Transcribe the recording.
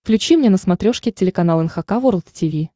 включи мне на смотрешке телеканал эн эйч кей волд ти ви